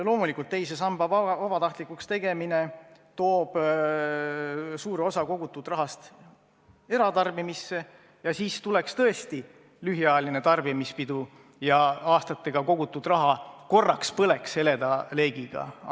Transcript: Loomulikult, teise samba vabatahtlikuks tegemine toob suure osa kogutud rahast eratarbimisse, siis tuleks tõesti lühiajaline tarbimispidu ja aastatega kogutud raha korraks põleks heleda leegiga.